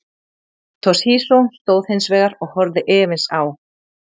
Toshizo stóð hins vegar og horfði efins á.